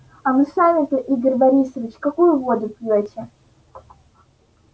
а вы сами-то игорь борисович какую воду пьёте